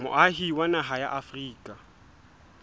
moahi wa naha ya afrika